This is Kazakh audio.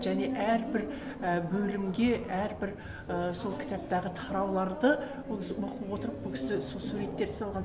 және әрбір бөлімге әрбір сол кітаптағы тарауларды ол оқып отырып бұл кісі суреттерді салған